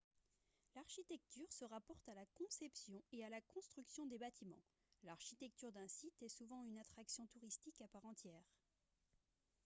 l'architecture se rapporte à la conception et à la construction des bâtiments l'architecture d'un site est souvent une attraction touristique à part entière